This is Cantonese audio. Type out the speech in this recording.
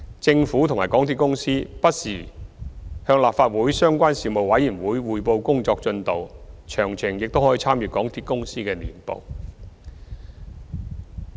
政府及港鐵公司不時向立法會相關事務委員會匯報工作進度，詳情亦可參閱港鐵公司的年報。